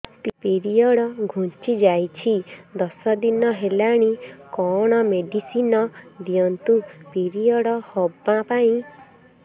period ଘୁଞ୍ଚି ଯାଇଛି ଦଶ ଦିନ ହେଲାଣି କଅଣ ମେଡିସିନ ଦିଅନ୍ତୁ ପିରିଅଡ଼ ହଵା ପାଈଁ